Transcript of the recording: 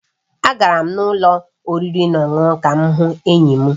Agara m ụlọ oriri na ọṅụṅụ ka m hụ enyi m